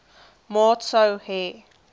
maat sou hê